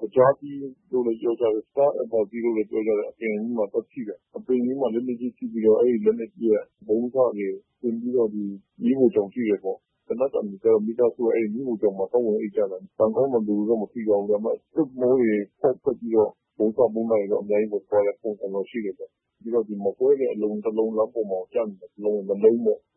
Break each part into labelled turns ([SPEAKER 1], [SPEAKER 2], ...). [SPEAKER 1] သကြားသီးလို့လည်း ပြောကြတယ်။ Star Apple လို့လည်း ပြောကြတယ်။ အဲဒီအပင်ကြီးမှာ သွားထိတာ။ အပင်ကြီးမှာ လက်နက်ကြီး ထိပြီးတော့ အဲဒီလက်နက်ကြီးရဲ့ ဗုံးစတွေ စင်ပြီးတော့ မီးဖိုချောင်ထိတယ်ပေါ့။ သေနတ်သံတွေကြားတော့ မိသားစုက အဲဒီမီးဖိုချောင်မှာ သွားဝင် အိပ်ကြတာ။ ကံကောင်းတော့ လူတွေတော့ မထိသွားဘူး။ ဒါပေမဲ့ သွပ်မိုးတွေ ပေါက်ထွက်ပြီးတော့ ဗုံးစ ဗုံးနတွေတော့ အများကြီးပဲ ဝင်သွားတဲ့ ပုံစံတော့ ရှိတယ်ဗျ။ ပြီးတော့ မကွဲတဲ့ အလုံး တလုံးပေါ့။ လမ်းပေါ်မှာကျနေတာ တလုံး နှစ်လုံးပေါ့။”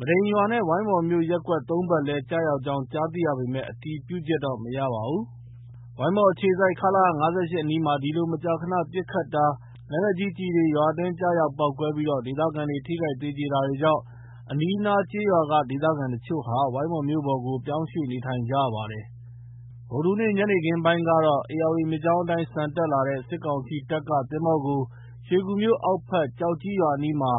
[SPEAKER 2] မဒိန်ရွာနဲ့ ဝိုင်းမော်မြို့ ရပ်ကွက် ၃ ဘက်လည်း ကျရောက်ကြောင်း ကြားသိရပေမဲ့ အတည်ပြုချက်တော့ မရပါဘူး။ ဝိုင်းမော်အခြေစိုက် ခလရ ၅၈ အနီးမှာ ဒီလို မကြာခနပစ်ခတ်တာ၊ လက်နက်ကြီးကျည်တွေ ရွာအတွင်းကျရောက်ပေါက်ကွဲပြီး ဒေသခံတွေ ထိခိုက်သေကျေတာတွေကြောင့် အနီးအနားကျေးရွာက ဒေသခံအချို့ဟာ ဝိုင်းမော်မြို့ပေါ်ကို ပြောင်းရွှေ့နေထိုင်နေကြပါတယ်။ ဗုဒ္ဓဟူးနေ့ ညနေခင်းပိုင်းကတော့ ဧရာဝတီမြစ်ကြောင်းအတိုင်း ဆန်တက်လာတဲ့ စစ်ကောင်စီတပ်က သင်္ဘောကို ရွှေကူမြို့အောက်ဘက် ကျောက်ကြီးရွာအနီးမှာ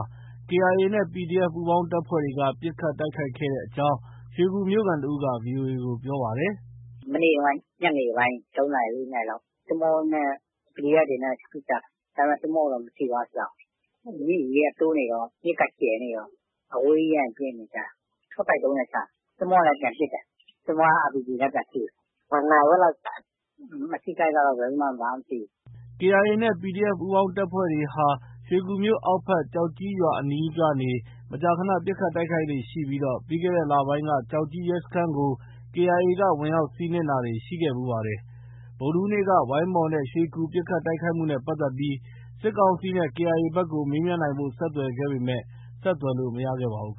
[SPEAKER 2] KIA နဲ့ PDF ပူးပေါင်းတပ်ဖွဲ့တွေက ပစ်ခတ် တိုက်ခိုက်ခဲ့တဲ့အကြောင်း ရွှေကူမြို့ခံတဦးက ဗွီအိုအေကိုပြောပါတယ်
[SPEAKER 3] ။ “မနေ့က ညနေပိုင်း ၃ နာရီ၊ ၄ နာရီလောက် သင်္ဘောနဲ့ PDF တွေနဲ့ ပစ်ကြတာ။ ဒါပေမဲ့ သင်္ဘောကိုတော့ မထိသွားဘူး။ ရေက တိုးနေတော့ မြစ်က ကျယ်နေတော့ အဝေးကြီးကနေ ပစ်နေကြတာ။ ရှော့တိုက်ဒုံးနဲ့ ချတာ။ သင်္ဘောကလည်း ပြန်ပစ်တယ်။ သင်္ဘောက RPG နဲ့ ပြန်ထုတယ်။ နာရီဝက်လောက်ကြာတယ်။ အထိအခိုက်ကတော့ ဘယ်သူမှ
[SPEAKER 2] ဘာမှ မထိဘူး။ ” KIA နဲ့ PDF ပူးပေါင်းတပ်ဖွဲ့တွေဟာ ရွှေကူမြို့ အောက်ဖက် ကျောက်ကြီးရွာအနီးကနေ မကြာခန ပစ်ခတ်တိုက်ခိုက်လေ့ရှိပြီး ပြီးခဲ့တဲ့လပိုင်းက ကျောက်ကြီးရဲစခန်းကို KIA ကဝင်ရောက်စီးနင်းတာတွေလည်း ရှိခဲ့ဖူးပါတယ်။ ဗုဒ္ဓဟူးနေ့က ဝိုင်းမော်နဲ့ ရွှေကူ ပစ်ခတ်တိုက်ခိုက်မှုနဲ့ပတ်သက်ပြီး စစ်ကောင်စီနဲ့KIA ဘက်ကို မေးမြန်းနိုင်ဖို့ ဆက်သွယ်ခဲ့ပေမဲ့ ဆက်သွယ်လို့ မရခဲ့ပါဘူး